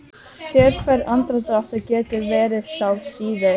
Sérhver andardráttur getur verið sá síð